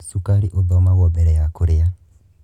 Cukari othomagwo mbere ya kurĩa.